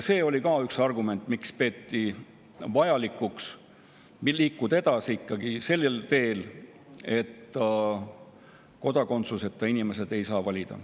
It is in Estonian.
See oli üks argument, miks peeti vajalikuks liikuda edasi ikkagi sellel teel, et kodakondsuseta inimesed ei saaks valida.